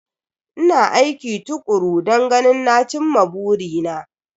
Ina aiki tukuru don ganin na cin ma burina.